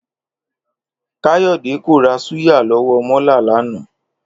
Káyò̩dé kò ra súyà ló̩wó̩ mó̩la̩ lánàá